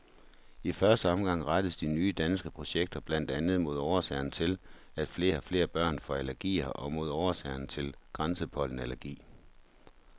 I første omgang rettes de nye danske projekter blandt andet mod årsagerne til, at flere og flere børn får allergier og mod årsagerne til græspollenallergi.